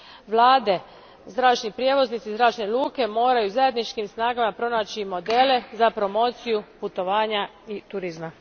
Vlade, zračni prijevoznici i zračne luke moraju zajedničkim snagama pronaći modele za promociju putovanja i turizma.